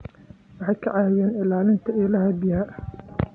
Waxay ka caawiyaan ilaalinta ilaha biyaha.